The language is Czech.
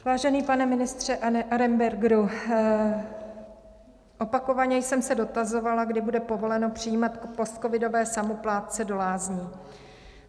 Vážený pane ministře Arenbergere, opakovaně jsem se dotazovala, kdy bude povoleno přijímat postcovidové samoplátce do lázní.